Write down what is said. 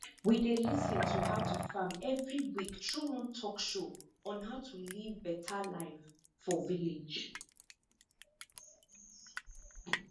we dey lis ten to how to farm every week through one talkshow on how to live better live for village